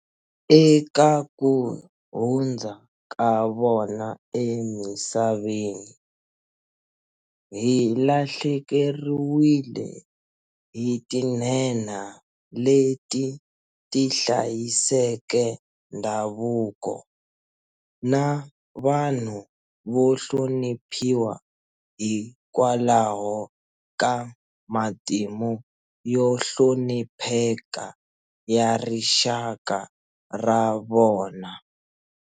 Eka ku hundza ka vona emisaveni, hi lahlekeriwile hi tinhenha leti ti hlayiseke ndhavuko, na vanhu vo hloniphiwa hikwalaho ka matimu yo hlonipheka ya rixaka ra vona.